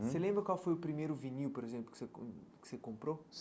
Você lembra qual foi o primeiro vinil, por exemplo, que você com que você comprou?